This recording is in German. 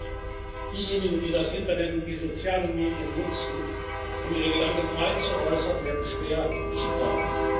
Schlimmer noch Diejenigen, die das Internet und die sozialen Medien nutzen, um ihre Gedanken frei zu äußern, werden schwer bestraft.